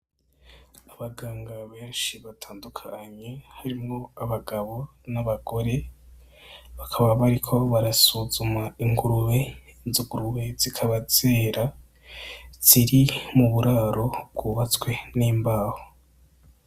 Abaganga benshi batandukanye harimwo abagabo n'abagore, bakaba bariko barasuzuma ingurube izo ngurube zikaba zera ziri mu buraro bw'ubatswe n'imbaho.